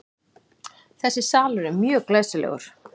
Þessi salur er mjög glæsilegur.